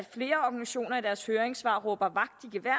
jeg deres høringssvar råber vagt i gevær